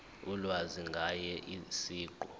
ulwazi ngaye siqu